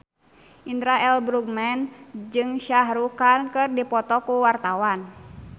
Indra L. Bruggman jeung Shah Rukh Khan keur dipoto ku wartawan